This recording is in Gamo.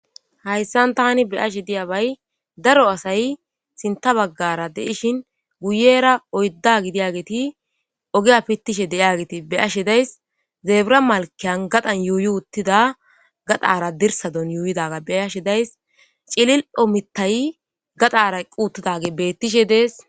hayssan tani beyashe diyabay daro asay sinta baggara deishin guyera oydda gidiyageti ogiya pittishe de7iageti beyashe days zeebura malkeyan gadan yuuyi uttida gadara dirsadon yuuyidaga beyashe days cilil7ho mittay gadara quutidage bettishe dees